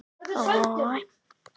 Fordæmi eru fyrir slíku.